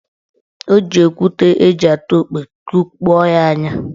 Ọ ji okwute eji atụ okwe kụkpọ ya anya.